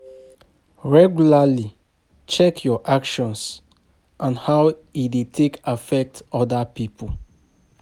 Regularly check your actions and how e dey take affect oda pipo